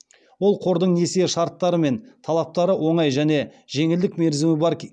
ол қордың несие шарттары мен талаптары оңай және жеңілдік мерзімі бар